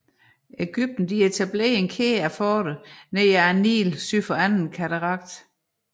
Egypten etablerede en kæde af forter ned ad Nilen syd for Anden Katarakt